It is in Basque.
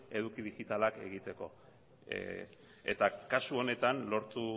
eduki digitalak egiteko eta kasu honetan lortu